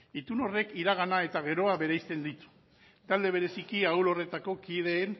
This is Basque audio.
itun horrek iragana eta geroa bereizten ditu talde bereziki ahul horretako kideen